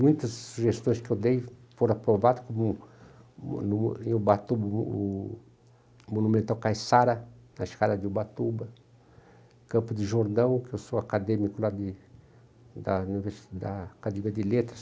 Muitas sugestões que eu dei foram aprovadas, como o em Ubatuba o o Monumental Caiçara, na escala de Ubatuba, Campo de Jordão, que eu sou acadêmico lá de da uni da Academia de Letras.